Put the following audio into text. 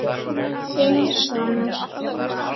Þinn sonur, Ívar.